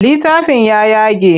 Littafin ya yage.